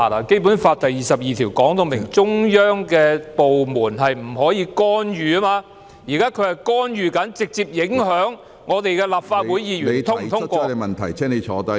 《基本法》第二十二條訂明，中央的部門不得干預香港特區的事務，現在它正在干預香港特區的事務，直接影響立法會議員是否通過......